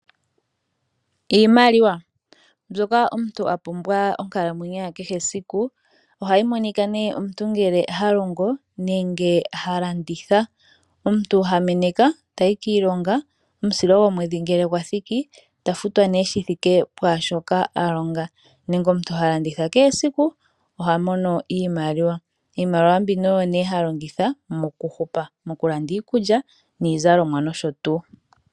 Iimaliwa Mbyoka omuntu a pumbwa monkalmwenyo ya kehe esiku. Ohayi monika nduno ngele omuntu ha longo nenge ha landitha. Omuntu ha meneka tayi kiilonga, omusilo gomwedhi ngele gwa thiki ta futwa ihe shi thike pwaashoka a longa nenge omuntu ha landitha kehe esiku oha mono iimaliwa. Iimaliwa mbino oyo nduno ha longitha mokuhupa, mokulanda iikulya niizalomwa nosho tuu.